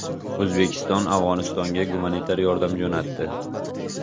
O‘zbekiston Afg‘onistonga gumanitar yordam jo‘natdi.